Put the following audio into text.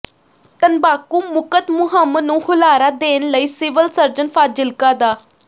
ਤੰਬਾਕੂ ਮੁਕਤ ਮੁਹਿੰਮ ਨੂੰ ਹੁਲਾਰਾ ਦੇਣ ਲਈ ਸਿਵਲ ਸਰਜਨ ਫਾਜ਼ਿਲਕਾ ਡਾ